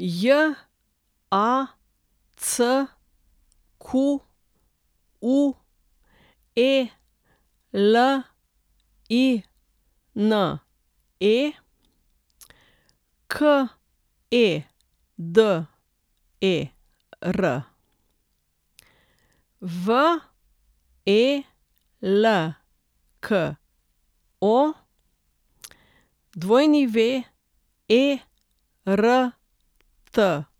Jacqueline Keder, Velko Wertl, Mirza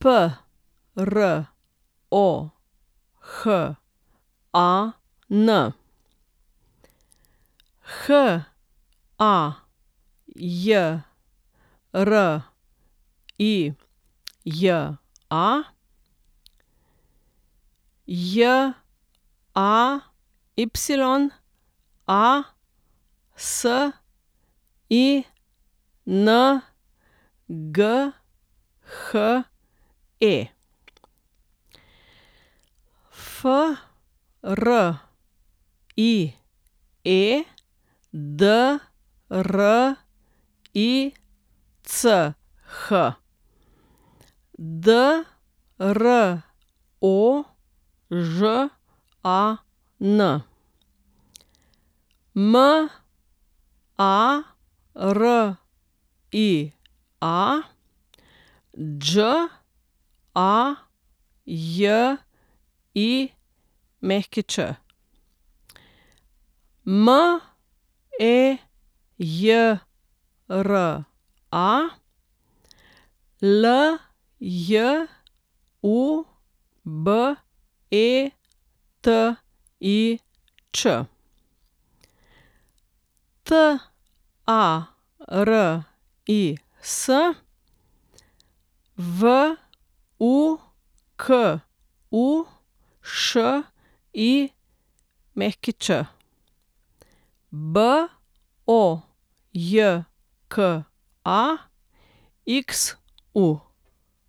Prohan, Hajrija Jayasinghe, Friedrich Drožan, Maria Đajić, Mejra Ljubetič, Taris Vukušić, Bojka Xu.